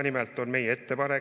Nimelt on meie ettepanek järgmine.